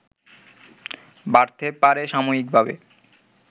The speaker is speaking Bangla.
বাড়তে পারে সাময়িকভাবে